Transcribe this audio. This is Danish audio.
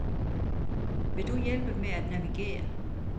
Vil du hjælpe med at navigere?